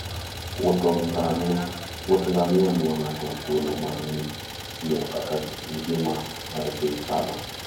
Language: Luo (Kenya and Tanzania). Wuoth ngamia miyowa thuolo mar ng'eyo kaka ngima mar thim chalo.